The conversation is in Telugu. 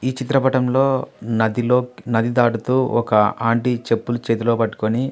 ఈ చిత్రపటంలో నదిలో నది దాటుతూ ఒక ఆంటీ చెప్పులు చేతిలో పట్టుకొని.